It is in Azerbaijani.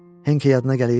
Henke yadına gəlir?